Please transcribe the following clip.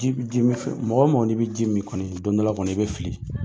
Mɔgɔ wo mɔgɔ i bi ji min kɔni don dɔ la kɔni i bi fili.